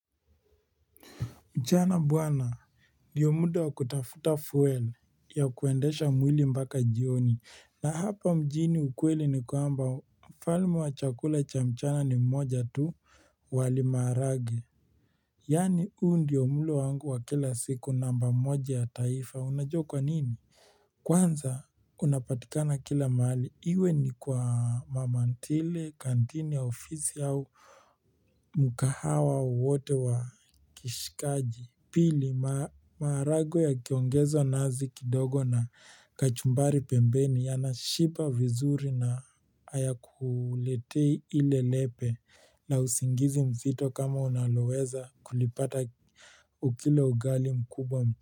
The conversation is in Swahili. Mchana buana ndio muda wa kutafuta fuel ya kuendesha mwili mbaka jioni na hapa mjini ukweli ni kuamba falmu wa chakula cha mchana ni mmoja tu wali marage Yani huu ndio mlo wangu wa kila siku namba moja ya taifa unajokwa nini Kwanza unapatika na kila mahali iwe ni kwa mamantile kantini ya ofisi au mkahawa wote wa kishikaji Pili marage ya kiongezo nazi kidogo na kachumbari pembeni ya na shiba vizuri na hayakuletei ile lepe na usingizi mzito kama unaloweza kulipata ukila ugali mkubwa mch.